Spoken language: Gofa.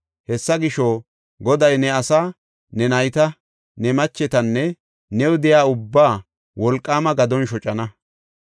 Hessa gisho, Goday ne asaa, ne nayta, ne machetanne new de7iya ubbaa wolqaama gadon shocana.